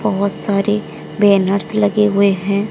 बहोत सारी बैनर्स लगे हुए हैं।